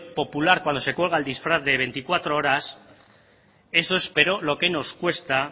popular cuando se cuelga el disfraz de veinticuatro horas eso esperó lo que nos cuesta